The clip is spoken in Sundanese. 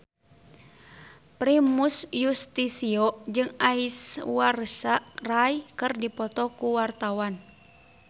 Primus Yustisio jeung Aishwarya Rai keur dipoto ku wartawan